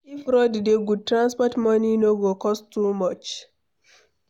If road dey good, transport money no go cost too much.